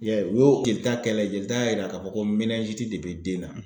I y'a ye u y'o jelita kɛ la jelita y'a yira k'a fɔ ko de bɛ den na.